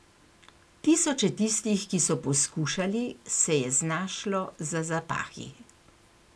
Tisoče tistih, ki so poskušali, se je znašlo za zapahi.